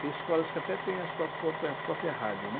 Tem escolas que até têm a sua própria própria rádio, né?